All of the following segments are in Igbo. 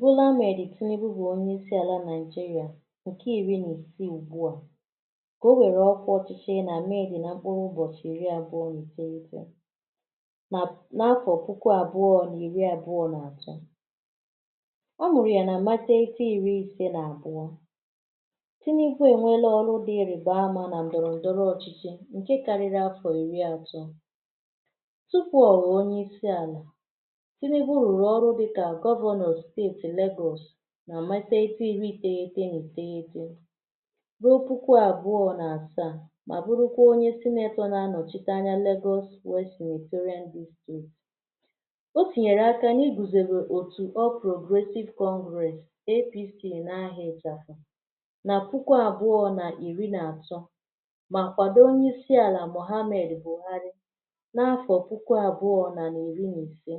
bola amed Tinubu bụ onyeisi àlà nàịjirịa ǹkè iri nà isii ùgbua kà o wèrèla ọkwa òchichi nà med na mkpuru ụ̀bọchị̀ iri àbụọ nà ìtoolu nà n’afọ puku àbụọ nà ir àbụọ nà àtọ ọ mụ̀rụ̀ ya na ma teghite iri ise nà àbụọ Tinubu è nweela ọrụ dị irībe ama nà ndòrò ochịchị ǹkè ǹke karịrị afọ̀ ìri àtọ tupu ọ̀ wụọ onye isi àlà Tinubu rụ̀rụ̀ ọrụ dịkà governor state lagos ma matate igwi iteghi ète na ò tegi ète bụrụtụkwa àbụọ nà àsaa mà bụrụkwa onỳe senator na-anọchite anya lagosw west senatorian o tinyèrè aka nà-igùsodea òtù all progressive congress apc n’aha ìchàfụ̀ nà puku àbụọ nà irị nà àtọ mà kwàdo onyeisi àlà mohammed Buhari n’afọ̀ puku àbụọ narị̀ iri nà ise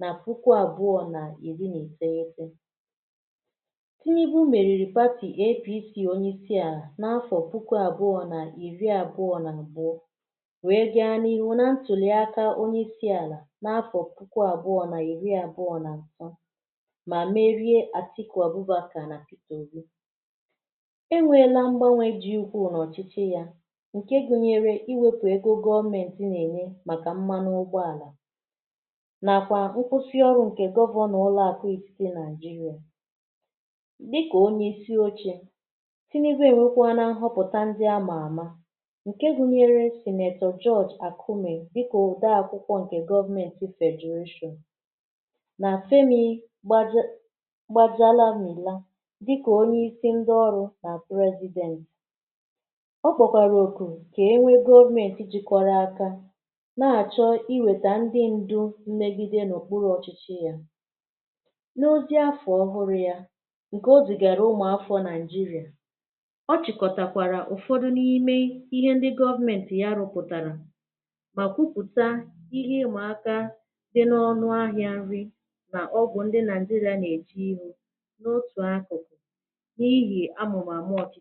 nà puku àbụọ nà iri nà iteghite Tinubu mèriri party apc onye isi a n’afọ puku àbụọ nà iri àbụọ nà àbụọ wee gaa n’ihu na ntụloị akā onyeisi àlà n’afọ puku àbụọ na iri àbụọ nà mà merie atiku abbukar na peter òbi e nweela mgbānwe di ukwuu n’ọ̀chịchị ya ǹke gunyere iwēpù ego gọmenti na-ènye màkà mmanụ ugbo àlà nàkwa nkwusi ọrụ nke governor ụlọ àkụ ètitì naịjirịà dịkà onyeisi ochē Tinubu ewekwanụ a ghọpụta ndị a mà àma ǹke gunyere senator judge àkume dịka òde akwụkwọ ǹkè government federation nà femi gbaje gbajalamila dịkà onyeisi ndị ọrụ̄ nà president ọ kpọ̀kwàrà ọ̀kụ̀ kà e nwee government jikọrọ aka na-àchọ iwèta ndị ndu mmegide n’okpuru ọ̀chịchị ya n’oche afọ̀ ọhụrụ ya ǹkè o zìgàrà umu afọ naịjirịà ọ chị̀kọtàkwàrà ụ̀fọdụ n’ime ihe ndị government ya rụpụ̀tàrà mà kwupụ̀ta ihe ị mà àka dị n’ọnụ ahịa nri nà ogwù ndị nàịjirịa nà-èji n’otù akụ̀kụ̀ n’ihì amụ̀màmụ ọ̀tụ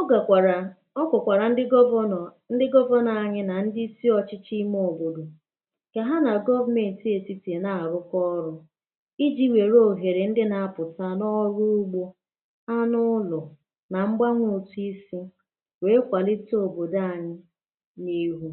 ọ gàkwàrà ọ gwàkwàrà ndị governor ndị governor anyị nà ndị isi ọ̀chịchị ime òbòdò kà ha nà government ètitì na-àrụkọ ọrụ̄ ijī wère òhèrè ndị na-apụ̀ta n’ọrụ ugbō anụ ụlọ̀ nà mgbanwe otu isī wee kwàlite òbòdò ànyị n’ihu